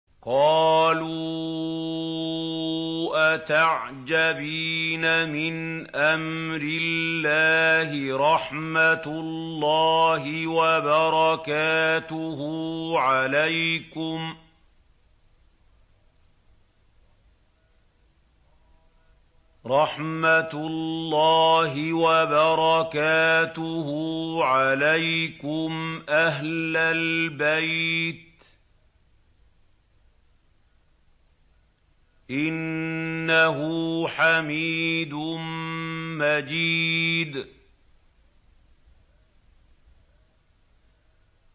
قَالُوا أَتَعْجَبِينَ مِنْ أَمْرِ اللَّهِ ۖ رَحْمَتُ اللَّهِ وَبَرَكَاتُهُ عَلَيْكُمْ أَهْلَ الْبَيْتِ ۚ إِنَّهُ حَمِيدٌ مَّجِيدٌ